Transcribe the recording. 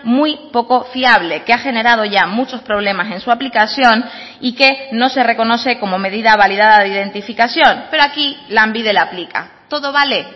muy poco fiable que ha generado ya muchos problemas en su aplicación y que no se reconoce como medida validada de identificación pero aquí lanbide la aplica todo vale